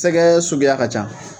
Sɛgɛ suguya ka ca